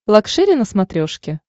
лакшери на смотрешке